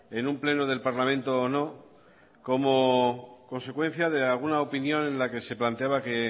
en un pleno del parlamento o no como consecuencia de alguna opinión en la que se planteaba que